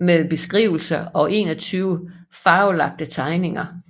med beskrivelser og 21 farvelagte tegninger